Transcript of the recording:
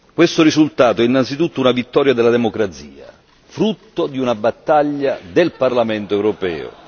Questo risultato è innanzitutto una vittoria della democrazia, frutto di una battaglia del Parlamento europeo.